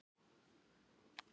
Eldur í gróðurhúsi